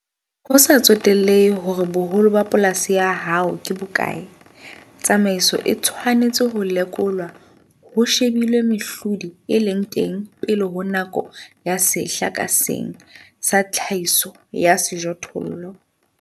Ho sa tsotellehe hore boholo ba polasi ya hao ke bo bokae, tsamaiso e tshwanetse ho lekolwa ho shebilwe mehlodi e leng teng pele ho nako ya sehla ka seng sa tlhahiso ya sejothollo.